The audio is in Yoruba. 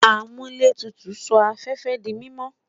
Amuletutu n sọ afẹfẹ di mimọ